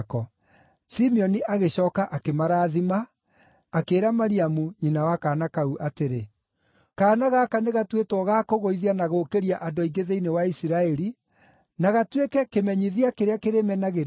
Simeoni agĩcooka akĩmarathima akĩĩra Mariamu, nyina wa kaana kau atĩrĩ, “Kaana gaka nĩ gatuĩtwo ga kũgũithia na gũũkĩria andũ aingĩ thĩinĩ wa Isiraeli, na gatuĩke kĩmenyithia kĩrĩa kĩrĩmenagĩrĩrio,